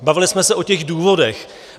Bavili jsme se o těch důvodech.